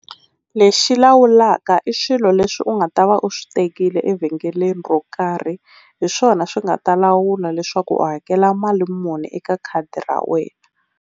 Lexi lawulaka i swilo leswi u nga ta va u swi tekile evhengeleni ro karhi hi swona swi nga ta lawula leswaku u hakela mali muni eka khadi ra wena.